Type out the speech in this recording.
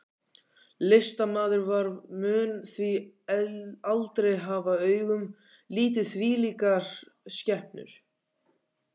Listamaður vor mun því aldrei hafa augum litið þvílíkar skepnur.